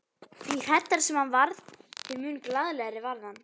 Því hræddari sem hann varð, þeim mun glaðlegri varð hann.